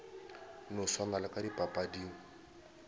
no swana le ka dipapading